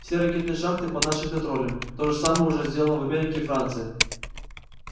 все ракетные шахты под нашим контролем то же самое уже сделано в америке и франции